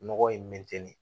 Nɔgɔ in mɛnɛ tɛnɛn